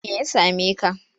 Me ya same ka?